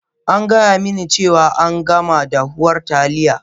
An gaya mini cewa an gama dahuwar Taliya